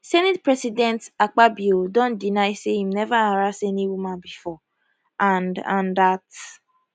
howeva senate president akpabio don deny say im neva harass any woman bifor and and dat